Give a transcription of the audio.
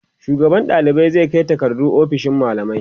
shugaban ɗalibai zai Kai takardu ofishin mallamai